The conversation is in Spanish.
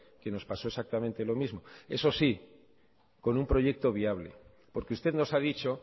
que nos pasó exactamente lo mismo eso sí con un proyecto viable porque usted nos ha dicho